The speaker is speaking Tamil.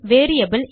வேரியபிள்